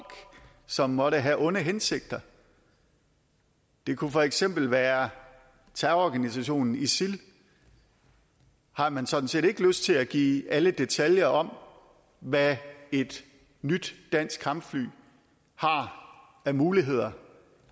som måtte have onde hensigter det kunne for eksempel være terrororganisationen isil har man sådan set ikke lyst til at give alle detaljer om hvad et nyt dansk kampfly har af muligheder